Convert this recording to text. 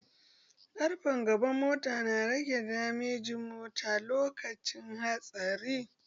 Ƙarfen gaban mota na rage damejin mota lokacin hatsari